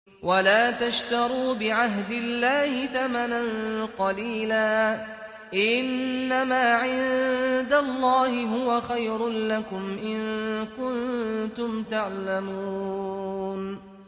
وَلَا تَشْتَرُوا بِعَهْدِ اللَّهِ ثَمَنًا قَلِيلًا ۚ إِنَّمَا عِندَ اللَّهِ هُوَ خَيْرٌ لَّكُمْ إِن كُنتُمْ تَعْلَمُونَ